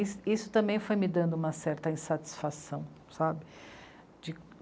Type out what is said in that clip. Is isso também foi me dando uma certa insatisfação, sabe?